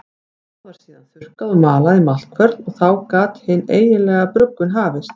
Það var síðan þurrkað og malað í maltkvörn og þá gat hin eiginlega bruggun hafist.